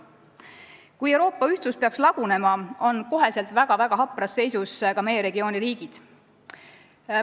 Kui Euroopa ühtsus peaks lagunema, on kohe väga-väga hapras seisus ka meie regiooni riigid.